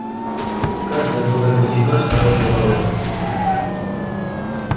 каждая была величиной с хороший валун